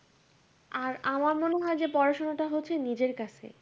আর আমার মনে হয় যে পড়া-শোনাটা হচ্ছে নিজের কাছে।